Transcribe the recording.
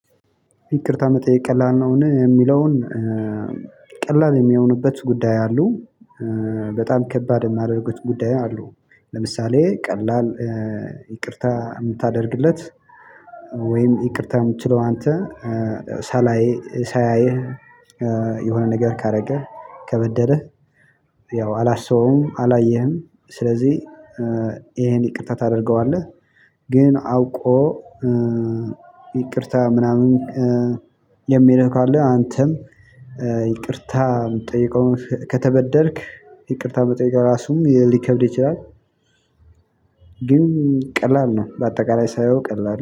ይቅርታ መጠየቅ ቀላል ነውን የሚለውን ቀላል የሚሆኑበት ጉዳይ አሉ። በጣም ከባድ የሚያደርጉት አሉ። ለምሳሌ ቀላል ይቅርታ እምታደርግለት ወይም ይቅርታም የምትለው አንተ ሳላይ ሳያይህ የሆነ ነገር ካደረገህ ከበደለህ ያው አላስበውም አላየህም ስለዚህ ይሄን ይቅርታ ታደርገዋለህ ግን አውቆ ይቅርታ ምናምን የሚልህ ካለ አንተም ይቅርታ የምትጠይቀውን ከተበደልክ ይቅርታ መጠየቅ እራሱ ሊከብድ ይችላል። ግን ቀላል ነው በአጠቃላይ ሳየው ቀላል ነው።